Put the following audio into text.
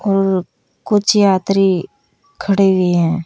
और कुछ यात्री खड़े हुए है।